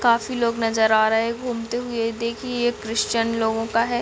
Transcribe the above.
काफी लोग नजर आ रहै है घूमते हुए देखिए ये क्रिश्चियान लोगों का है।